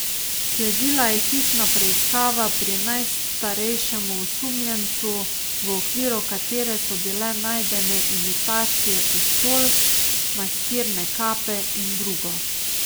Sledila je hišna preiskava pri najstarejšem osumljencu, v okviru katere so bile najdene imitacije pištol, maskirne kape in drugo.